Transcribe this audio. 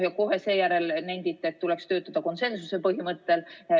Kohe seejärel nentisite, et tuleks töötada konsensuse põhimõttel.